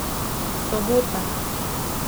Sobota.